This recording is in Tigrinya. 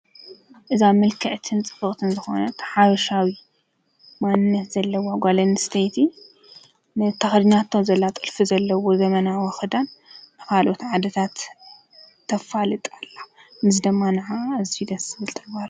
እዛ ምልክዕትን ፅብቅትን ዝኮነት ሓበሻዊት ማንነት ዘለዋ ጓል ኣንሰተይቲ ነቲ ተከዲናቶ ዘላ ጥልፊ ዘለዎ ዘመናዊ ክዳን ካልኦት ዓዲታት ተፋልጥ ኣላ ነዚ ድማ ነዓኣ ኣዝዩ ደስ ዝብል ተግባር እዩ ::